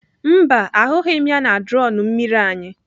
Mba, ahụghị m ya na drọn mmiri anyị.